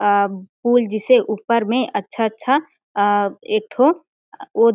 अ फूल जिसे ऊपर में अच्छा अच्छा अ एक ठो ओ --